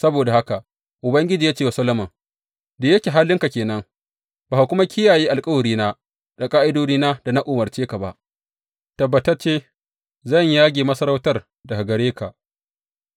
Saboda haka Ubangiji ya ce wa Solomon, Da yake halinka ke nan, ba ka kuma kiyaye alkawarina, da ƙa’idodina da na umarce ka ba, tabbatacce zan yage masarautar daga gare ka,